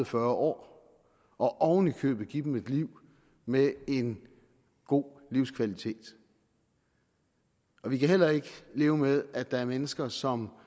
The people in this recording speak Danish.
fyrre år og oven i købet give dem et liv med en god livskvalitet vi kan heller ikke leve med at der er mennesker som